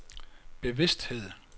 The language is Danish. bevidsthed